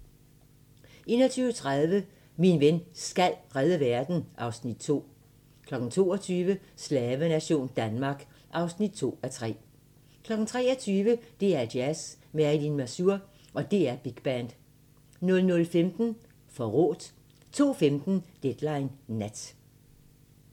21:30: Min ven SKAL redde verden (Afs. 2) 22:00: Slavenation Danmark (2:3) 23:00: DR2 Jazz: Marilyn Masur & DR Big Band 00:15: Forrådt 02:15: Deadline Nat